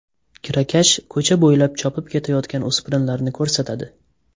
Kirakash ko‘cha bo‘ylab chopib ketayotgan o‘spirinlarni ko‘rsatadi.